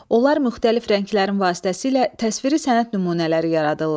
Onlar müxtəlif rənglərin vasitəsilə təsviri sənət nümunələri yaradırlar.